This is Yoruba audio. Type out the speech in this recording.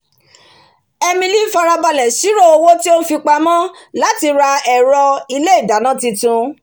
emily farabalẹ̀ sírò owó tí ó n fi pamó làti ra àwon ẹ̀ro ilé ìdáná titun